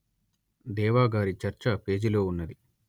దేవా గారి చర్చ పేజీలో ఉన్నది